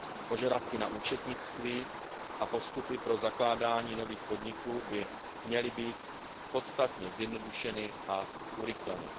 Požadavky na účetnictví a postupy pro zakládání nových podniků by měly být podstatně zjednodušeny a urychleny.